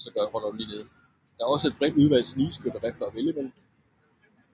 Det er også et bredt udvalg snigskytterifler at vælge mellem